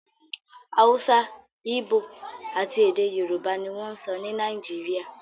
Hausa, Igbo, àti èdè Yorùbá ni wọ́n ń sọ ní Nàìjíríà